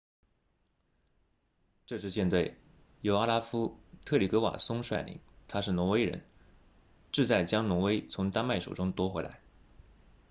这支舰队由奥拉夫特里格瓦松率领他是挪威人志在将挪威从丹麦手中夺回来